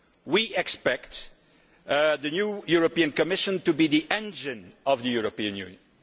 We expect the new European Commission to be the engine of the European Union.